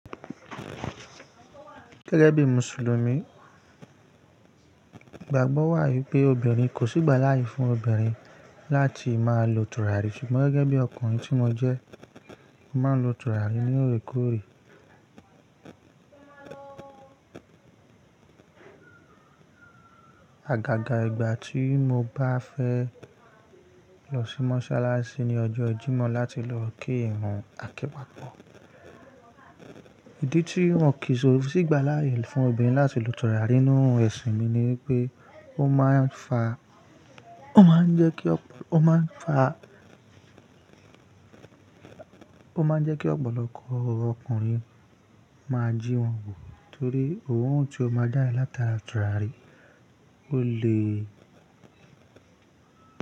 Gẹ́gẹ́ bí Mùsùlùmí, ìgbàgbọ́ wà wipé obìnrin kò sí ìgbàláyè fún obìnrin láti máa lo tùràrí ṣùgbọ́n gẹ́gẹ́ bí ọkùnrin tí mo jẹ́, mo máa ń lo tùràrí ní oòrékòóré. Agaga ìgbà tí mo bá fẹ́ lọ sí mọ́ṣáláṣí ní ọjọ́ jímọ̀ láti lọ kí ìrun àkẹ́pa pọ̀. Ìdí tí wọ́n kìí sí ìgbàláyè fún obìnrin láti lo tùràrí nínú ẹ̀sìn mi ni pé ó máa ń fa, ó máa ń jẹ́ kí, ó máa ń fa, ó máa ń jẹ́ kí ọ̀pọ̀lọpọ̀ ọkùnrin máa jí wọn wò torí oorun tí o máa jade láti à tùràrí, ó le.